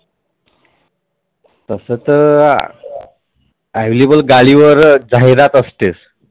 तस तर Available गाडीवरच जाहिरात असतेच.